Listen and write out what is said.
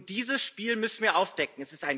Und dieses Spiel müssen wir aufdecken